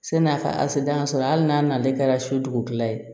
San'a ka ase dangan sɔrɔ hali n'a nana ale kɛra so dugukila ye